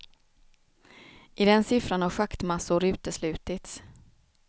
I den siffran har schaktmassor uteslutits.